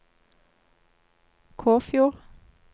Kåfjord